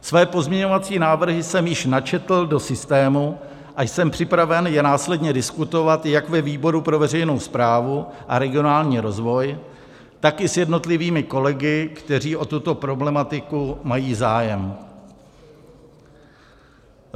Své pozměňovací návrhy jsem již načetl do systému a jsem připraven je následně diskutovat jak ve výboru pro veřejnou správu a regionální rozvoj, tak i s jednotlivými kolegy, kteří o tuto problematiku mají zájem.